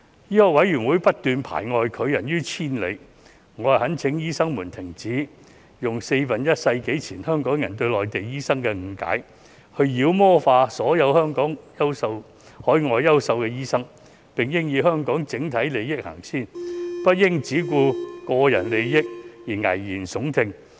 醫委會不斷排外，拒人於千里，我懇請醫生們停止用四分之一世紀前香港人對內地醫生的誤解，別再把所有海外的優秀醫生妖魔化，並應以香港整體利益先行，不應只顧個人利益而危言聳聽。